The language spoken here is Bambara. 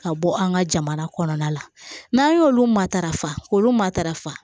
Ka bɔ an ka jamana kɔnɔna la n'an y'olu matarafa k'olu matarafa